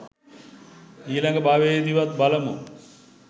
ඊලඟ භවයෙදිවත් බලමු